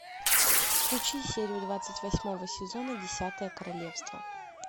включи серию двадцать восьмого сезона десятое королевство